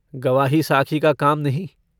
गवाही साखी का काम नहीं।